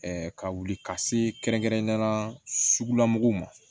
ka wuli ka se kɛrɛnkɛrɛnnenya la sugula mɔgɔw ma